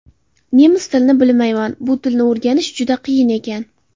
Nemis tilini bilmayman, bu tilni o‘rganish juda qiyin ekan”.